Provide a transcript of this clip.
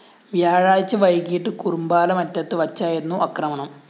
വ്യാഴാഴ്ച വൈകിട്ട് കുറുമ്പാലമറ്റത്ത് വച്ചായിരുന്നു ആക്രമണം